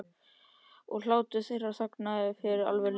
Og hlátur þeirra þagnar fyrir alvöru lífsins.